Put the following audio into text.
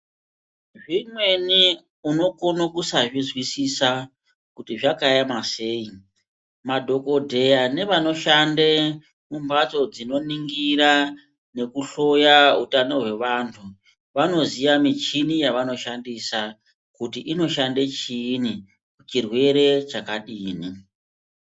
Zvimweni unokona kusazvizwiswisa kuti zvakaema sei madhokodheya nevanoshande mumbatso dzinoningira nekuhloya hutano hwevantu vanoziya michini yavanoshandisa kuti inoshande chiinyi chirwere chakadini.